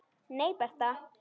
Nei, Bertha.